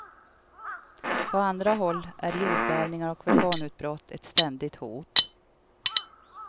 På andra håll är jordbävningar och vulkanutbrott ett ständigt hot.